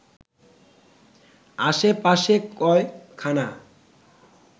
আশে পাশে কয়খানা